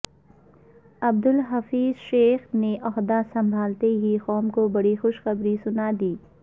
عبدالحفظ شیخ نے عہدہ سنبھالتے ہی قوم کو بڑی خوشخبری سنادی